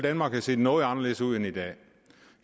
danmark have set noget anderledes ud end i dag